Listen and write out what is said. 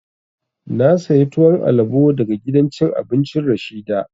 Na saya tuwon alabo daga gidan cin abincin Rashida